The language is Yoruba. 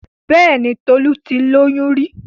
Bẹ́ẹ̀ni Tolu ti lóyún rí?